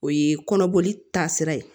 O ye kɔnɔboli taa sira ye